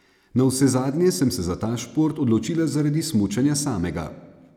Navsezadnje sem se za ta šport odločila zaradi smučanja samega.